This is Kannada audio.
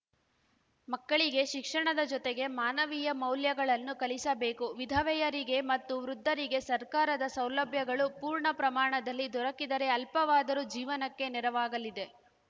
ಮಕ್ಕಳಿಗೆ ಶಿಕ್ಷಣದ ಜೊತೆಗೆ ಮಾನವೀಯ ಮೌಲ್ಯಗಳನ್ನು ಕಲಿಸಬೇಕು ವಿಧವೆಯರಿಗೆ ಮತ್ತು ವೃದ್ಧರಿಗೆ ಸರ್ಕಾರದ ಸೌಲಭ್ಯಗಳು ಪೂರ್ಣ ಪ್ರಮಾಣದಲ್ಲಿ ದೊರಕಿದರೆ ಅಲ್ಪವಾದರೂ ಜೀವನಕ್ಕೆ ನೆರವಾಗಲಿದೆ